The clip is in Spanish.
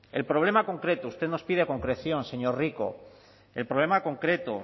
el problema concreto usted nos pide concreción señor rico el problema concreto